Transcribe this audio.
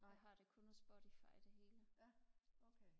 jeg har det kun på spotify det hele